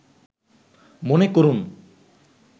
মনে করুন